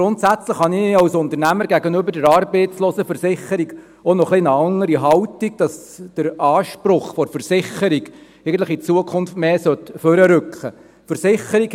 Grundsätzlich habe ich als Unternehmer gegenüber der Arbeitslosenversicherung (ALV) auch noch eine etwas andere Haltung, dass der Anspruch der Versicherung in Zukunft eigentlich mehr hervorrücken sollte.